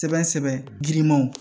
Sɛbɛn sɛbɛn girinmanw